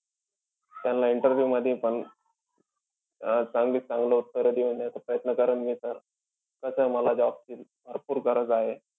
त्यान्ला interview मधी पण अं चांगल्यात चांगले उत्तर देऊन देण्याचा प्रयत्न करेल मी sir. कसंय मला job ची भरपूर गरज आहे.